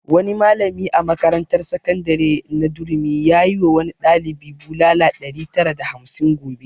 Wani malami a makarantar sakandare na durumi yayi wa wani ɗalibi bulala ɗari tara da hamsin gobe